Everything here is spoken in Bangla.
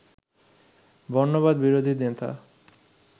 বর্ণবাদ বিরোধী নেতা